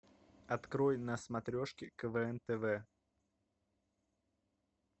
открой на смотрешке квн тв